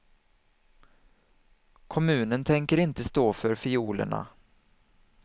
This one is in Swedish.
Kommunen tänker inte stå för fiolerna.